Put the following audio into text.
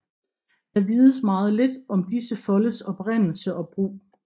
Der vides meget lidt om disse foldes oprindelse og brug